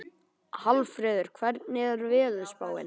Hallfreður, hvernig er veðurspáin?